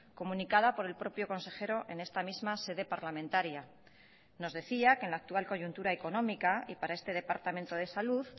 comunicada por el propio consejero en esta misma sede parlamentaria nos decía que en la actual coyuntura económica y para este departamento de salud